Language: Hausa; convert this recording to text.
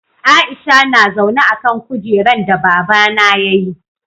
Aisha na zaune a'kan kujeran da baba na ya yi.